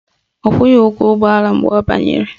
Ọ kwụghị ụgwọ ụgbọala mgbe ọ banyere